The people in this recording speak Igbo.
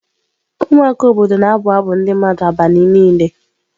Ụmụaka obodo na-abụ abụ ndị mmadụ n'abalị niile.